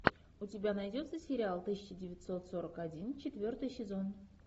у тебя найдется сериал тысяча девятьсот сорок один четвертый сезон